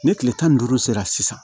Ni kile tan ni duuru sera sisan